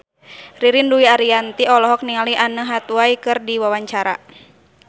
Ririn Dwi Ariyanti olohok ningali Anne Hathaway keur diwawancara